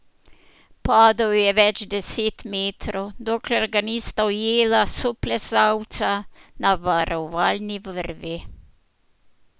Padal je več deset metrov, dokler ga nista ujela soplezalca na varovalni vrvi.